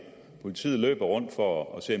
politiet løber rundt for at se